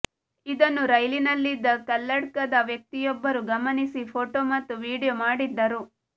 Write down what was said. ಇದನ್ನು ರೈಲಿನಲ್ಲಿದ್ದ ಕಲ್ಲಡ್ಕದ ವ್ಯಕ್ತಿಯೊಬ್ಬರು ಗಮನಿಸಿ ಫೋಟೋ ಮತ್ತು ವಿಡಿಯೋ ಮಾಡಿದ್ದರು